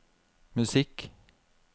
musikk